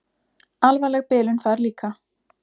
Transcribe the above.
Alvarleg bilun þar líka.